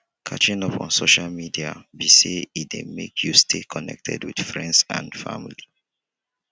catching up on social media be say e dey make you stay connected with friends and family.